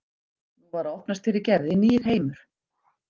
Nú var að opnast fyrir Gerði nýr heimur.